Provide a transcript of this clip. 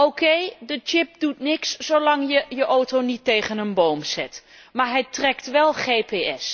OK, de chip doet niks zolang je de auto niet tegen een boom zet, maar hij trekt wel GPS.